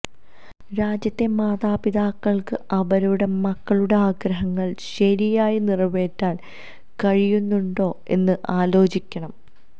രാജ്യത്തെ മാതാപിതാക്കൾക്ക് അവരുടെ മക്കളുടെ ആഗ്രഹങ്ങൾ ശരിയായി നിറവേറ്റാൻ കഴിയുന്നുണ്ടോ എന്ന് ആലോചിക്കണം